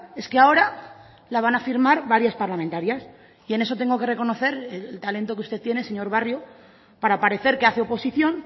es que ahora la van a firmar varias parlamentarias y en eso tengo que reconocer el talento que usted tiene señor barrio para parecer que hace oposición